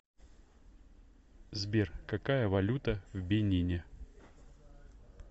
сбер какая валюта в бенине